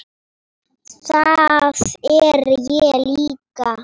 Það er ég líka.